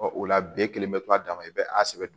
Ɔ o la be kelen bɛ to a dan ma i bɛ a sɛbɛ don